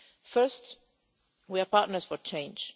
First, we are partners for change.